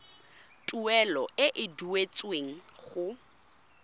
tuelo e e duetsweng go